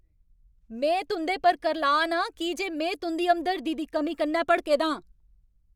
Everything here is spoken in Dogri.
में तुं'दे पर करलाऽ ना आं की जे में तुं'दी हमदर्दी दी कमी कन्नै भड़के दां।